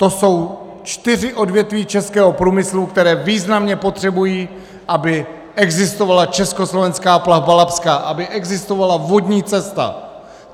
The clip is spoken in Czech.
To jsou čtyři odvětví českého průmyslu, která významně potřebují, aby existovala Československá plavba labská, aby existovala vodní cesta.